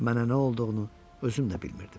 Mənə nə olduğunu özüm də bilmirdim.